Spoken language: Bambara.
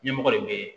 Ɲɛmɔgɔ de bɛ ye